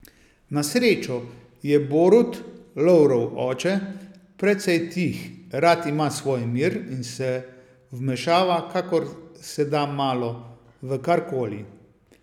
Na srečo je Borut, Lovrov oče, precej tih, rad ima svoj mir in se vmešava, kakor se da malo, v karkoli.